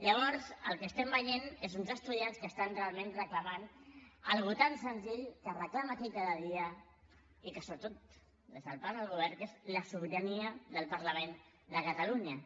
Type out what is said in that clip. llavors el que veiem són uns estudiants que reclamen realment una cosa tan senzilla que es reclama aquí cada dia i sobretot de part del govern que és la sobirania del parlament de catalunya